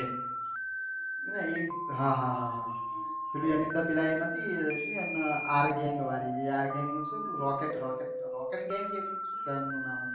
અલ એક હા હા હા પેલી પેલા એન નથી એ આર ગેંગ વાડી એ આર gang rocket rocket rocket gang છે